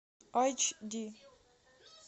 эйч ди